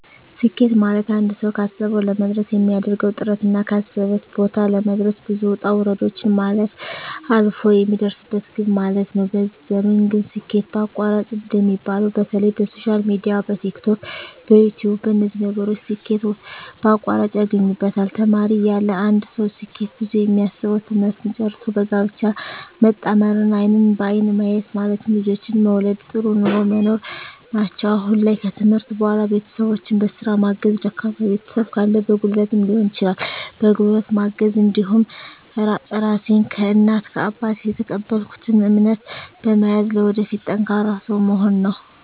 ስኬት ማለትአንድ ሰዉ ካሰዉ ለመድረስ የሚያደርገዉ ጥረትና ካሰበበት ቦታ ለመድረስ ብዙ ዉጣ ዉረዶችን ማለፍ አልፍ የሚደርስበት ግብ ማለት ነዉ በዚህ ዘመን ግን ስኬት በአቋራጭ እንደሚባለዉ በተለይ በሶሻል ሚድያ በቲክቶክ በዩትዩብ በነዚህ ነገሮች ስኬት በአቋራጭ ያገኙበታል ተማሪ እያለ አንድ ሰዉ ስኬት ብሎ የሚያስበዉ ትምህርትን ጨርሶ በጋብቻ መጣመርና አይንን በአይን ማየት ማለትም ልጆችን መዉለድ ጥሩ ኑሮ መኖር ናቸዉ አሁን ላይ ከትምህርት በኋላ ቤተሰቦቸን በስራ ማገዝ ደካማ ቤተሰብ ካለ በጉልበትም ሊሆን ይችላል በጉልበት ማገዝ እንዲሁም ራሴን ከእናት ከአባት የተቀበልኩትን እምነት በመያዝ ለወደፊት ጠንካራ ሰዉ መሆን ነዉ